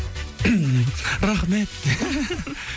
рахмет